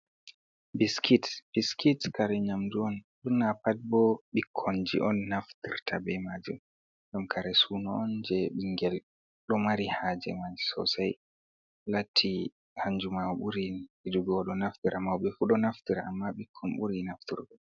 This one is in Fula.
Biskit, Biskit kare nyamndu on ɓurna pat boo bikkonji on naftirta bee maajum, ɗum kare suuno on jey ɓinngel ɗo mari haaje man soosay, latti hannju man ɓurin yiɗugo o ɗo naftira, mawɓe fu ɗo naftira amma ɓikkon ɓuri nafturgo.